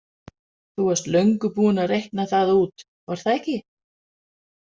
Þú varst löngu búin að reikna það út, var það ekki?